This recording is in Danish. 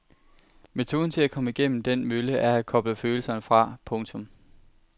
Metoden til at komme igennem den mølle er at koble følelserne fra. punktum